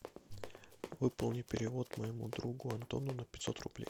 выполни перевод моему другу антону на пятьсот рублей